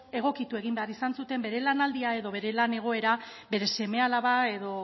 egokitu egin behar izan zuten bere lanaldia edo lan egoera beren seme alaba edo